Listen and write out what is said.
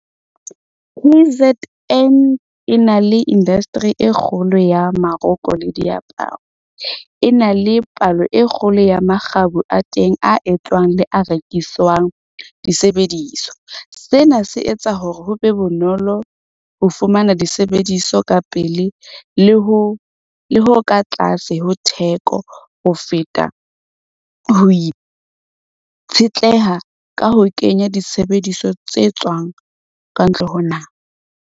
K_Z_N e na le industry e kgolo ya maroko le diaparo. E na le palo e kgolo ya makgabo a teng a etswang le a rekiswang disebediso. Sena se etsa hore ho be bonolo ho fumana disebediso ka pele le ho ka tlase ho theko ho feta ho itshetleha ka ho kenya disebediso tse tswang ka ntle ho naha.